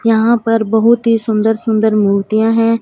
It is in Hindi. यहां पर बहुत ही सुन्दर-सुन्दर मूर्तियां हैं।